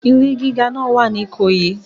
Ilé gíga náà wà ní Ìkòyí.